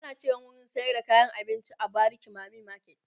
ana Kiran wurin sayar da kayan abinci w bariki mami market